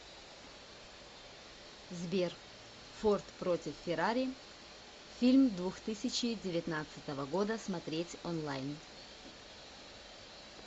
сбер форд против феррари фильм двух тысячи девятнадцатого года смотреть онлайн